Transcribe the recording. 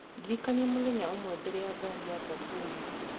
Ndĩrikania mũthenya ũmwe mbere ya ngaari yakwa kũũma